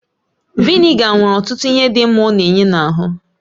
Vị́nịga nwere ọtụtụ ihe dị mma ọ na-enye n'ahụ